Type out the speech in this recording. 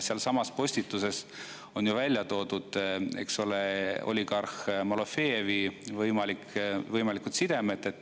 Sealsamas postituses on ju välja toodud, eks ole, võimalikud sidemed oligarh Malofejeviga.